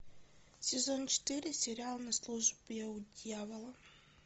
сезон четыре сериал на службе у дьявола